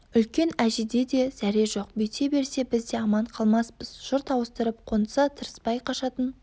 үлкен әжеде де зәре жоқ бүйте берсе біз де аман қалмаспыз жұрт ауыстырып қонса тырыспай қашатын